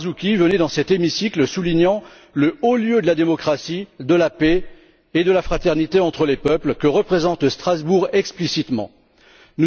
Marzouki, venait dans cet hémicycle, soulignant le haut lieu de la démocratie, de la paix et de la fraternité entre les peuples que représente explicitement Strasbourg.